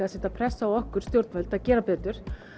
að setja pressu á okkur stjórnvöld að gera betur